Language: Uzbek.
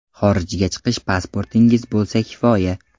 Xorijga chiqish pasportingiz bo‘lsa kifoya.